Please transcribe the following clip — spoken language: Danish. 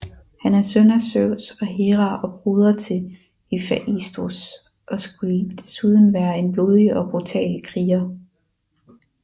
Han er søn af Zeus og Hera og broder til Hefaistos og skulle desuden være en blodig og brutal kriger